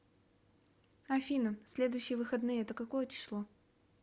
афина следующие выходные это какое число